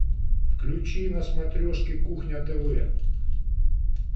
включи на смотрешке кухня тв